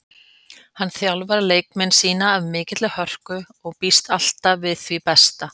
Hann þjálfar leikmenn sína af mikilli hörku og býst alltaf við því besta.